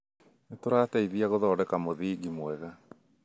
nĩ tũrateithia gũthondeka mũthingi mwega